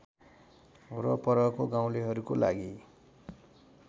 वरपरको गाउँलेहरूको लागि